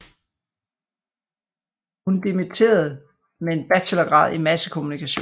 Hun dimitterede med en bachelorgrad i massekommunikation